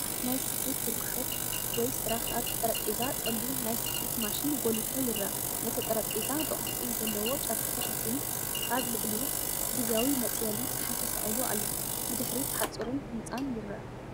ናይ ስፌት ወርክሾፕ ወይ ስራሕ ፣ኣብቲ ጠረጴዛ ጸሊም ናይ ስፌት ማሽን ጐሊሑ ይርአ። እቲ ጠረጴዛ ብቅርጺ ዘለዎ ጨርቂ ተሸፊኑ ፣ ኣብ ልዕሊኡ ግዝያዊ መጽለሊ ጸሓይ ተሰቒሉ ኣሎ። ብድሕሪት ሓጹርን ህንጻን ይርአ።